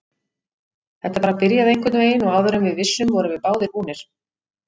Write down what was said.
Þetta bara byrjaði einhvernveginn og áður en við vissum vorum við báðir búnir.